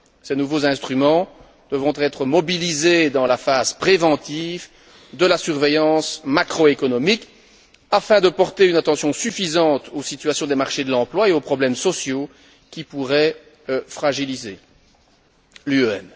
Ces nouveaux instruments devront être mobilisés dans la phase préventive de la surveillance macro économique afin de porter une attention suffisante aux situations des marchés de l'emploi et aux problèmes sociaux qui pourraient fragiliser l'UEM.